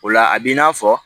O la a b'i n'a fɔ